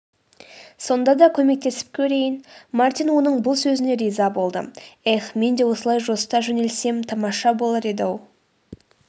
сонда да көмектесіп көрейін.мартин оның бұл сөзіне риза болды.эх мен де осылай жосыта жөнелсем тамаша болар еді-ау